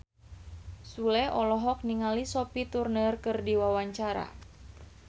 Sule olohok ningali Sophie Turner keur diwawancara